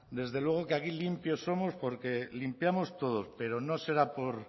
desde luego que aquí limpios somos porque limpiamos todos pero no será por